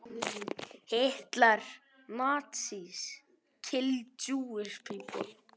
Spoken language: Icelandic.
Þetta hlýtur að vera klassísk útvarpsstöð.